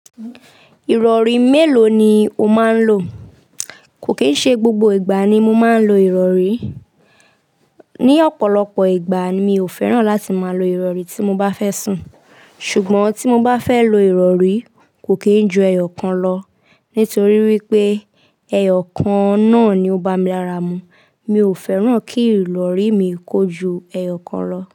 Ìrọ̀rí mélòó ni o máa ń lò? Kò kì í ṣe gbogbo ìgbà ni mo máa ń lo ìrọ̀rí. Ni ọ̀pọ̀lọpọ̀ ìgbà mi ò fẹ́ràn láti máa lo ìrọ̀rí tí mo bá fẹ́ sùn. Ṣùgbọ́n tí mo bá fẹ́ lo ìrọ̀rí, kò kì í ju ẹyọ kan lọ nítorí wípé ẹyọ kan náà ni ó bá mi lára mu. Mi ò fẹ́ràn kí ìrọ̀rí mi kó ju ẹyọ kan lọ.